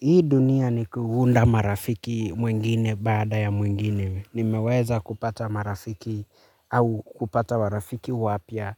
Hii dunia ni kuunda marafiki mwingine baada ya mwingine. Nimeweza kupata marafiki au kupata marafiki wapya.